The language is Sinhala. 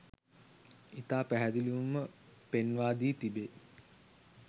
ඉතා පැහැදිලිවම පෙන්වා දී තිබේ.